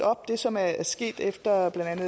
op som er sket efter at blandt